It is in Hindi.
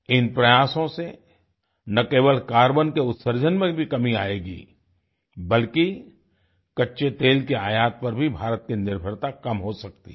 इन प्रयासों से न केवल कार्बन के उत्सर्जन में भी कमी आएगी बल्कि कच्चेतेल के आयात पर भी भारत की निर्भरता कम हो सकती है